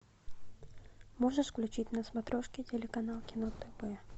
можешь включить на смотрешке телеканал кино тв